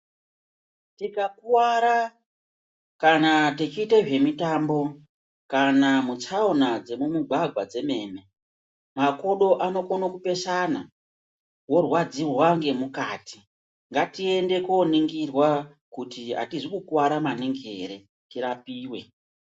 Tika kuvara kana techiite zve mitambo kana muchaona dze mu mugwagwa dzemene makodo ano kona kupesana wo rwadzirwa ne mukati ngatiende to nigirwa kuti atizi kukwara maningi ere tirapiwe.